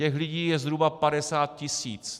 Těch lidí je zhruba 50 tis.